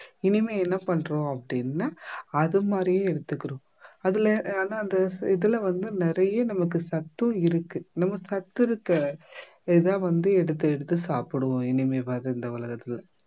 இனிமே என்ன பண்றோம் அப்படின்னா அது மாதிரியே எடுத்துக்கிறோம் அதுல ஆனா அந்த இதுல வந்து நிறைய நமக்கு சத்தும் இருக்கு நம்ம சத்திருக்க இதை வந்து எடுத்து எடுத்து சாப்பிடுவோம் இனிமேவாவது இந்த உலகத்துல